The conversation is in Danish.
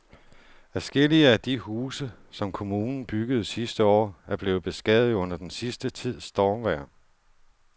Adskillige af de huse, som kommunen byggede sidste år, er blevet beskadiget under den sidste tids stormvejr.